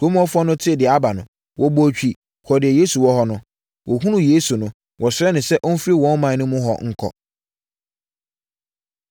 Kurom hɔfoɔ no tee deɛ aba no, wɔbɔɔ twi, kɔɔ deɛ Yesu wɔ hɔ no. Wɔhunuu Yesu no, wɔsrɛɛ no sɛ ɔmfiri wɔn ɔman mu hɔ nkɔ.